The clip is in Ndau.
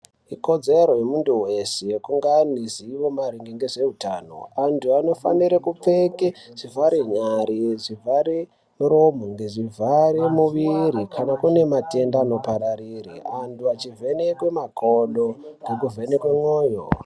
Ikodzero yemuntu weshe yekunge ane ruzivo maringe ngezveutano. Antu anofanire kupfeke zvivhare nyari, zvivhare muromo ngezvivhare muviri kana kune matenda anopararire antu achivhenekwe makodo ngekuvhenekwe mwoyo.